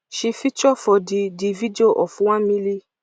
she feature for di di video of one milli